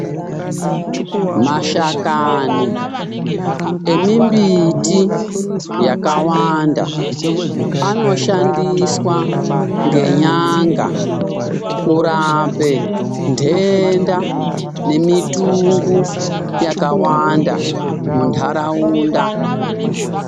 Mashakani emimbiti yakawanda anoshandiswa ngenyanga kurape ntenda nemitungu yakawanda muntaraunda.